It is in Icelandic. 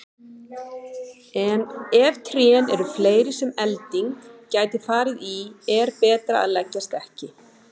En ef trén eru fleiri sem elding gæti farið í er betra að leggjast ekki.